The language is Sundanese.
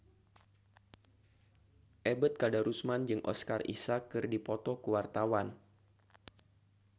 Ebet Kadarusman jeung Oscar Isaac keur dipoto ku wartawan